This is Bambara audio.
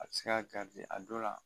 A se ka garisɛgɛ a don la